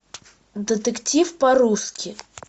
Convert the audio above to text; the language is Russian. детектив по русски